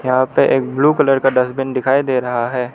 यहां पे एक ब्लू कलर का डस्टबिन दिखाई दे रहा है।